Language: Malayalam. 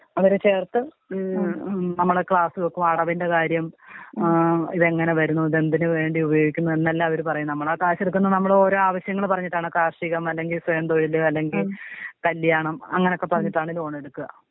അവരെ ചേർത്ത് നമ്മളെ ക്ലാസ് വെക്കും, അടവിന്റെ കാര്യം ഏ ഇതെങ്ങനെ വരുന്നു ഇതെന്തിന് വേണ്ടി ഉപയോഗിക്കുന്നു, എന്നെല്ലാം അവര് പറയും നമ്മള് ആ ക്യാഷ് എടുക്കുന്നത് നമ്മളെ ഓരോ ആവശ്യങ്ങൾ പറഞ്ഞിട്ടാണ് കാർഷികം, അല്ലെങ്കി സ്വയം തൊഴില് അല്ലെങ്കില്‍ കല്ല്യാണം അങ്ങനെക്കെ പറഞ്ഞിട്ടാണ് ലോൺ എടുക്കാ.